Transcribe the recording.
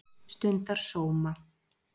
stundar sóma